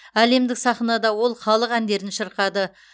әлемдік сахнада ол халық әндерін шырқады